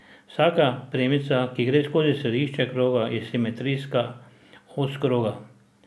Vsaka premica, ki gre skozi središče kroga, je simetrijska os kroga.